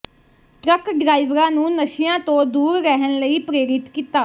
truck ਡਰਾਈਵਰਾਂ ਨੂੰ ਨਸ਼ਿਆਂ ਤੋਂ ਦੂਰ ਰਹਿਣ ਲਈ ਪ੍ਰੇਰਿਤ ਕੀਤਾ